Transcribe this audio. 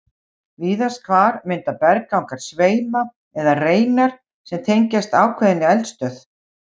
Víðast hvar mynda berggangar sveima eða reinar sem tengjast ákveðinni eldstöð.